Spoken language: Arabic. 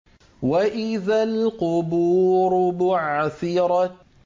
وَإِذَا الْقُبُورُ بُعْثِرَتْ